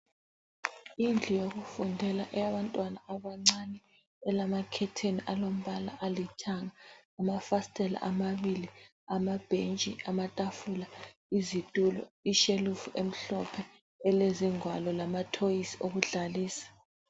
Indlu yokufundela eyabantwana abancane elamakhetheni alombala alithanga lamafasitela amabili lama bhentshi, amatafula, izitulo, ishelufu emhlophe elezingwalo lamathoyizi wokudlalisa.